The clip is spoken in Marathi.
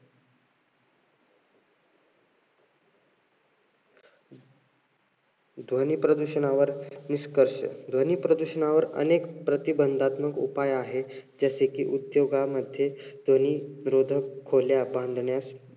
ध्वनी प्रदूषणावर निष्कर्ष, ध्वनी प्रदूषणावर अनेक प्रतिबंधात्मक उपाय आहेत. जसे कि, उद्योगामध्ये ध्वनी रोधक खोल्या बांधण्यास,